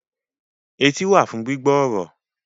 Etí wà fún gbígbọ́ ọ̀rọ̀